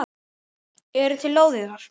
Eru til lóðir þar?